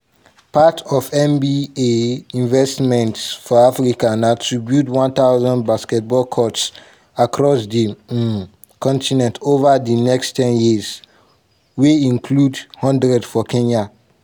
part of nba investment for africa na to build 1000 basketball courts across di um continent ova di next ten years wey include one hundred for kenya.